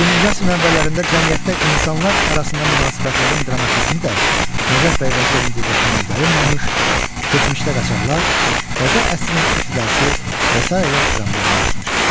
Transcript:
20-ci əsrin əvvəllərində cəmiyyətdə insanlar arasına münasibətlərin dramizmi də Nəcəf bəy Vəzirovun diqqətindən yayınmamış, Keçmişdə qaçaqlar, Təzə əsrin ibtidası və sair dramlarını yazmışdır.